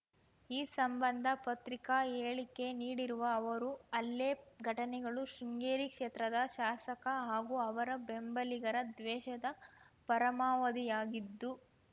ಈ ಸಂಬಂಧ ಪತ್ರಿಕಾ ಹೇಳಿಕೆ ನೀಡಿರುವ ಅವರು ಹಲ್ಲೆ ಘಟನೆಗಳು ಶೃಂಗೇರಿ ಕ್ಷೇತ್ರದ ಶಾಸಕ ಹಾಗೂ ಅವರ ಬೆಂಬಲಿಗರ ದ್ವೇಷದ ಪರಮಾವಧಿಯಾಗಿದ್ದು